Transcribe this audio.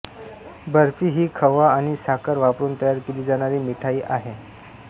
बर्फी ही खवा आणि साखर वापरुन तयार केली जाणारी मिठाई आहे